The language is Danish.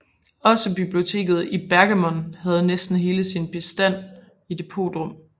Også biblioteket i Pergamon havde næsten hele sin bestand i depotrum